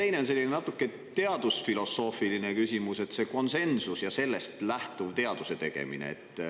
Ja teine küsimus on natuke teadusfilosoofiline ning seda konsensust ja sellest lähtuvat teaduse tegemist.